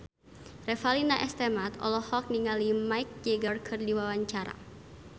Revalina S. Temat olohok ningali Mick Jagger keur diwawancara